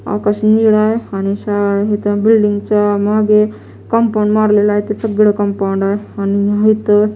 आकाश निळे आहे आणि शाळा इथं बिल्डिंग च्या मागे कंपाउंड मारलेलं आहे ते सगळं कंपाउंड आहे आणि या इथं --